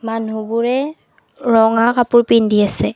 মানুহবোৰে ৰঙা কাপোৰ পিন্ধি আছে।